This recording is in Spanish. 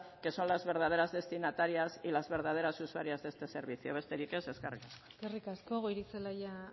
que son las verdaderas destinatarias y las verdaderas usuarias de este servicio besterik ez eskerrik asko eskerrik asko goirizelaia